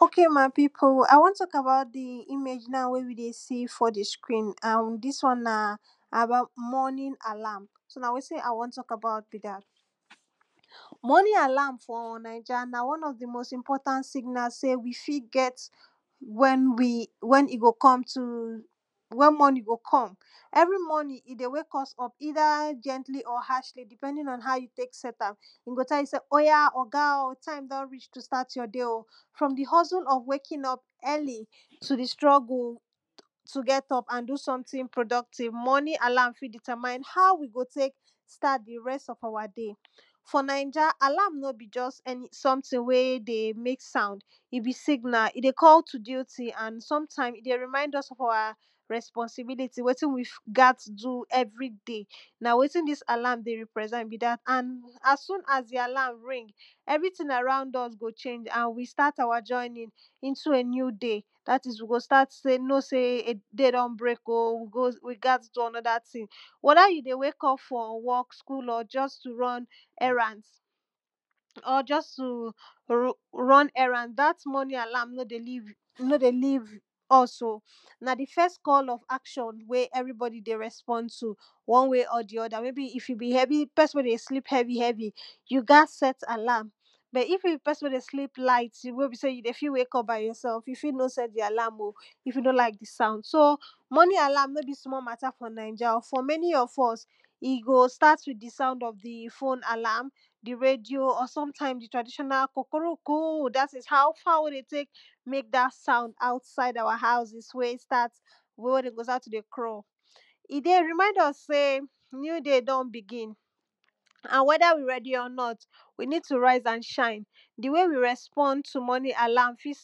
ok my pipo i wan tok about the image na wey we dey see for the screen and dis one na about morning alarm so na wetin i wan tok about be dat morning alarm for naija na one of the most important signal sey we fi get when we, when he go come to when morning go come every morning, he dey wake us up, either, gently or harshly depending on how you tek set am he go tell you sey, oya, oga o, time don reach to start your day o, from the hustle of waking up early, to the struggle to get up and do something productive. morning alarm fit determine, how we go tek start the rest of awa day for naija, alarm no be just, eni. someting wey dey make sound he be signal, he dey call to duty, and sometime he dey remind us of awa, responsibility wetin wif gat do everyday na wetin dis alarm dey represent be dat, and as soon as the alarm ring everyting around us go change, and we start awa journey into a new day, dat is, we go start to dey know say day don break o,we go, we gat do another thing wether you dey wake up for work, school, or just to run, errands or just too ru run errand, dat morning alarm no dey leave no dey leave us o na the first call of action wey everybody dey respond to one way or the other, maybeif you be heavy, pesin wey dey sleep heavy, heavy you gat set alarm but if you be pesin wey dey sleep light, you wey be sey you fit wake up by yourself, you fi no set the alarm o if you no like the sound. so, morning alarm no be small mata for naija o, for many of us he go start with the sound of the phone alarm the radio, or sometimes the traditional kukuruku, dat is, how fowl dey tek mek dat sound outside awa houses wey start wey wen dem go start to dey crow he dey remind us sey new day don begin and wether we ready or not we need to rise and shine the way we respond to morning alarm, fit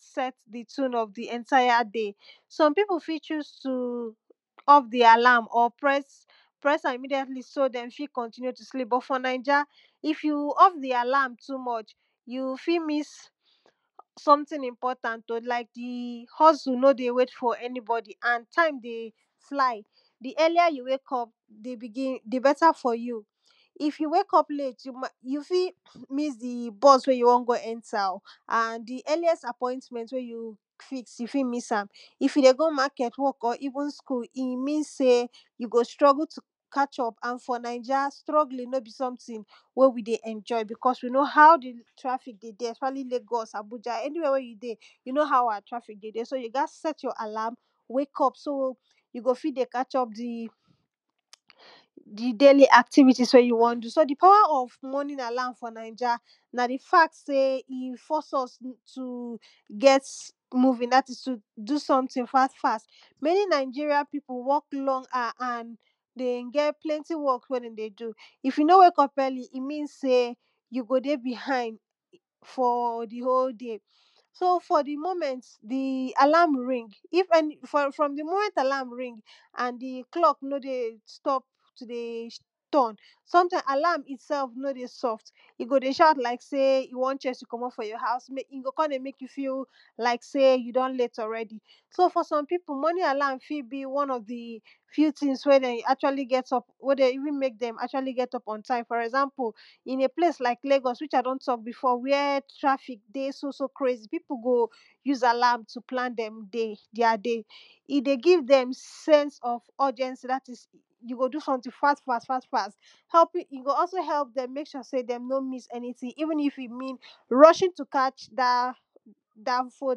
set the tune of the entire day some pipu fit choose to off the alarm, or press press am immediately so dem fi continue to sleep. but for naija if you off the alarm too much you fi miss someting important o, like the hustle no dey wait for anybody, and time dey fly the earlier you wake up the begin, the beta for you. if you wake up late you mai, you fi miss the bus wey you wan go enter o and the earliest appointment wey you fix fix you fi miss am if you dey go market, work or, even school, he mean sey you go struggle to catch up, and for naija, struggling no be someting wey we dey enjoy, because we know how the traffic dey dey, especially lagos, abuja, anywhere wey you dey, you know how awa traffic dey dere. so you gat set your alarm wake up so you go fi dey catch up the the daily activities wey you wan do. so the power of morning alarm for naija na the fact sey, he force us to get moving, dat is, to do someting fast fast many nigeria pipu work long hour and dey get plenty work wen dem dey do. if you no wake up early, he mean sey you go dey behind for the whole day. so, for the moment the alarm ring if eni for from the moment alarm ring and the clock no dey stop to dey sh turn sometimes alarm itself no dey soft he go dey shout like sey, he wan chase you comot for your house, mek he go kon dey mek you feel, like sey you don late already so for some pipu, morning alarm fi be one of the few tings wey dem actually get up wey dey even mek dem, actually get up on time. for example in a place like lagos, which i don tok before, where traffick dey so so crazy, pipo go use alarm dem day, deir day he dey give dem sense of urgency, dat is, you go do someting fast fast fast fast probably he go also help dem mek sure sey dem no miss anyting even if he mean rushing to catch dat danfo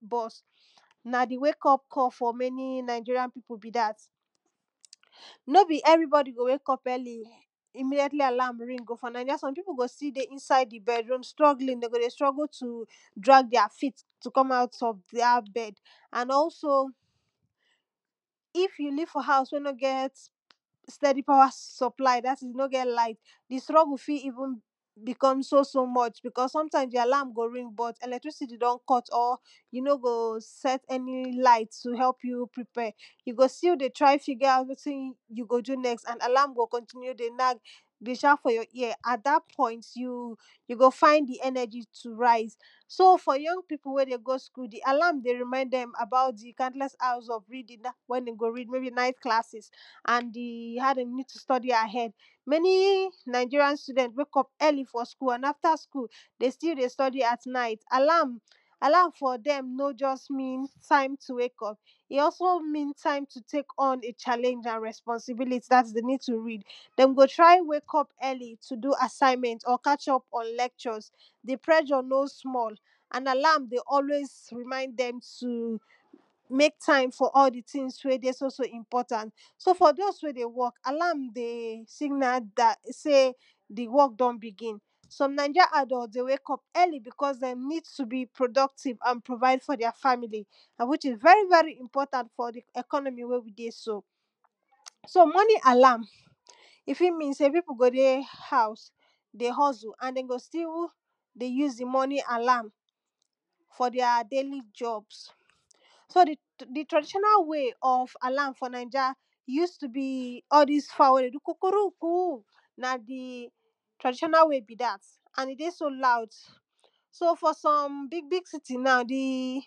bus na the wake up call for many nigerian pipu be dat no be everybody go wake up early immediately alarm ring go. for naija, some pipu go still dey inside the bedroom struggling dem go dey struggle to drag deir feet to come out of dat bed and also if you live for house wey no get steady power supply, dat is, no get light the struggle fi even become so so much because, sometimes your alarm go ring but electricity don cut or you no go set eni light to help you prepare you go still dey try figure out wetin you go do next, and alarm go continue to dey nag dey shout for your ear at that point you you go find the energy to rise so for young pipu wey dey go school the alarm dey remind dem about the countless hours of reading, when you go read, maybe night classes and the had a need to study ahead many nigerian student wake up early for school, and after school dey still dey study at night. alarm alarm for dem no just mean time to wake up he also mean time to tek on a challenge and responsibility, dat is, dem need to read dem go try wake up early to do assignment or catch up on lectures the pressure no small and alarm dey always remind dem to mek time for all the tings wey dey so so important so for those wey dey work alarm signal dat sey the work don begin some naija adult dey wake up early, because dem need to be productive, and provide for deir family and which is very very important for the economy wey we dey so. so morning alarm he fi mean sey pipu go dey house dey hustle and dem go still dey use the morning alarm for deir daily jobs so the the traditional way of alarm for naija use to be all dis fowl wey dey do kukuruku na the traditional way be dat and he dey so loud so for some big big city na the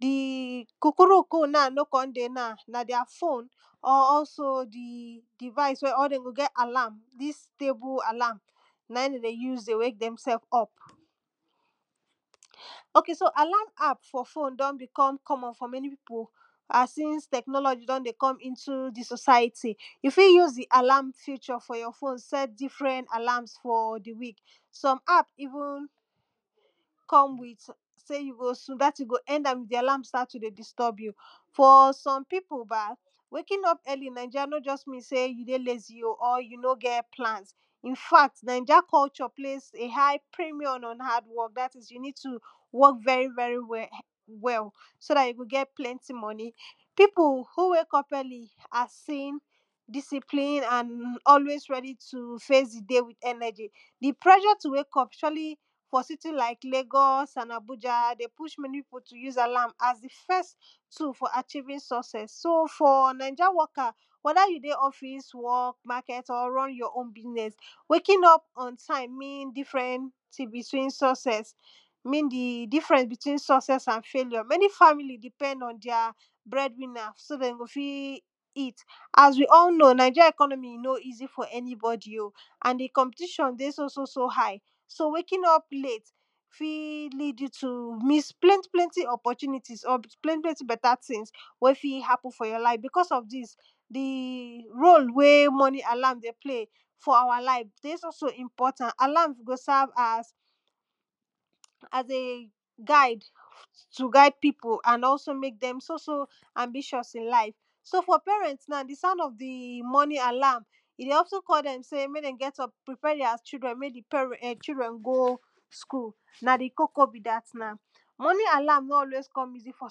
the kukuruku na no kon dey na, na deir phone or also the device, wey or den go get, alarm dis table alarm na in dem dey use dey wake themsef up. ok so, alarm app for phone don become common for many pipu as since technology don dey come into the society, you fi use, the alarm feature for your phone, set differen alarms for the week some app even come with sey you go soon, dat ting go end am, the alarm start to dey disturb you for some pipu ba, waking up early in naija, no just mean sey you dey lazy o, or you no get plans infact, naija culture place a high premium on hardwork, dat is you need to work very very well well so dat you go get plenty money pipu who wake up early are seen discipline and aiways ready to face the day with energy the pressure to wake up, surely for city like lagos, and abuja dem push many pipu to use alarm, as the first two for achieving success. so, for naija worker wether you dey office, work, market, or run your own business waking up on time, mean differen, tings between success mean the difference between success and failure, many family depend on deir bread winner, so dem go fi eat as we all know nigerian economy no easy for eni body o and the competition dey so so so high so waking up late fi lead you to miss plenty plenty opportunities or plenty plenty beta tings wey fi happen for your life because of dis the role wey morning alarm dey play for awa life dey so so important. alarm go serve as as a guide to guide pipu and also mek dem so so ambitous in life so for parent na the sound of the morning alarm he dey also call dem sey mek dem get up prepare deir children, mek the parent children, mek dem go school na the koko be dat na morning alarm no always come easy for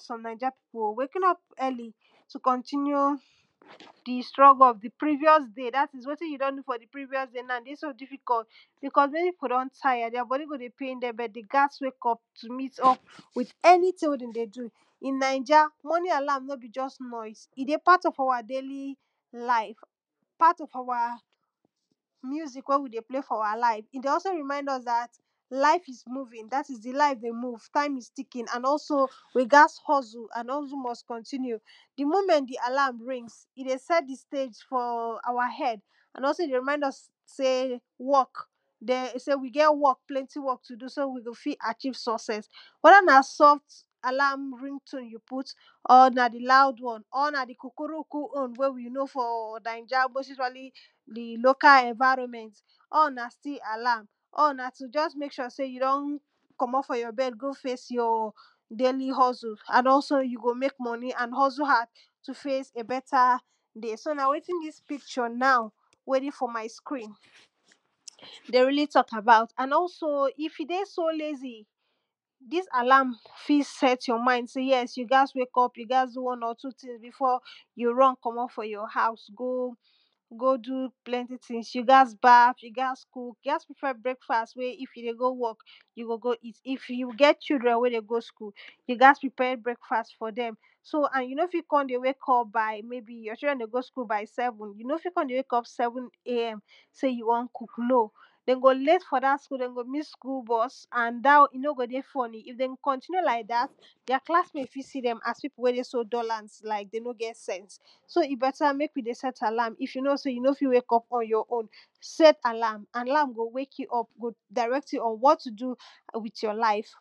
some naija pipu o, waking up early to continue the struggle of the previous day, dat is, wetin you don do for the previous day na dey so diffucult because many pipu don tire, deir body go dey pain dem but dey gas wake up to meet up with anyting wey dem dey do in naija, morning alarm no be just noise, he dey part of awa daily life part of awa music wey we dey play for awa life. he dey also remind us dat life moving, dat is, the life dey move, time is ticking and also we gats hustle and hustle must continue the moment the alarm rings he dey set the stage for awa head and also he dey remind us sey work den sey we get work, plenty work to do. so, we go fi achieve success wether na soft alarm ring tone you put or na the loud one or na the kukuruku own wey we know for naija, most usually the local environment all na still alarm all na to just mek sure you don comot for your bed go face your daily hustle, and also you go mek money and hustle hard to face a beta so na wetin dis picture now wey dey for my screen dey really tok about. and also, if he dey so lazy dis alarm fi set your mind, sey, yes you gats wake up, you gats do one or two tings, before you run comot for your house, go go do plenty tings, you gats baf, you gats cook, you gats prepare breakfast, wey if you dey go work you go go eat if you get children wey dey go school you gats prepare breakfast for dem so and you no fi kon dey wake up by maybe your children dey go school by seven, you no fi kon dey wake up seven AM sey you wan cook no dem go late for dat school dem go miss school bus and dat one he no go dey funny, if dem continue like dat deir classmate fi see dem as pipu wey dey so dullant, like dem no get sense so mek we dey set alarm, if you know sey, you no fit do am on your own set alarm alarm go wake you up, go direct you on what to do wit your life